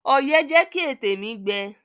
Ọyẹ́ jẹ́ kí ètè mi gbẹ.